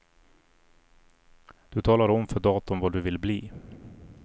Du talar om för datorn vad du vill bli.